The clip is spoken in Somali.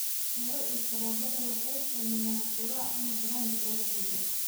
Canjeero iyo sharoobada waxay sameeyaan quraac ama brunch lagu qanco.